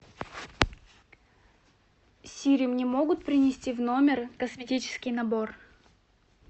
сири мне могут принести в номер косметический набор